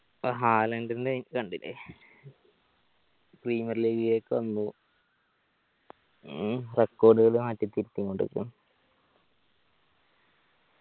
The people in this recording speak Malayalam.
ഇപ്പൊ ഹാലൻഡ് കണ്ടില്ലേ premiur league ലേക്ക് വന്നു മ്മ് record കള് മാറ്റി തിരിത്തി